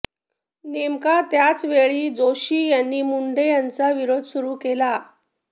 नेमका त्याच वेळी जोशी यांनी मुंढे यांचा विरोध सुरू केला